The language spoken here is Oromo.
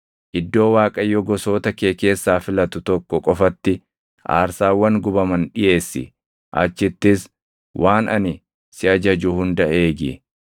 Iddoo Waaqayyo gosoota kee keessaa filatu tokko qofatti aarsaawwan gubaman dhiʼeessi; achittis waan ani si ajaju hunda eegi.